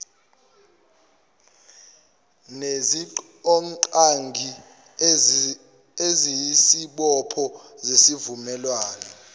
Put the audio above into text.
nezidingongqangi eziyisibopho sesivumelwano